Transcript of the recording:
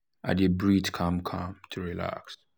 i dey breathe calm calm to relax.